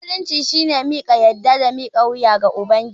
Musulunci shine miƙa yadda da mika wuya ga Ubangiji.